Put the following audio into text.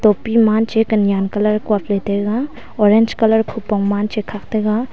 topi ma cha ka nyan ka lai kuk la taiga orange colour kupong man khak taga.